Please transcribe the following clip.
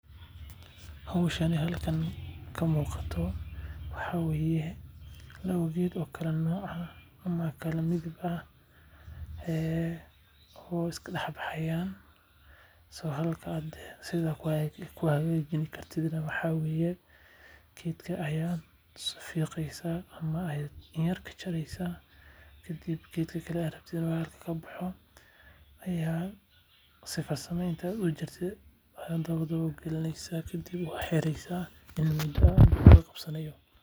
Howshan halkan ka muuqato waxaa waye laba geed oo kala nooc ah oo iska dex baxaayan sida lagu hagaajin Karo waxaa waye waa fiqeysa dabada ayaa ka galineysa waa xireysa inta uu ka cabsanaayo.